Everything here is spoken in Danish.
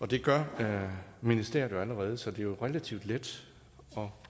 det gør ministeriet jo allerede så det er relativt let